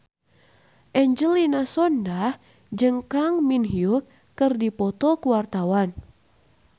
Angelina Sondakh jeung Kang Min Hyuk keur dipoto ku wartawan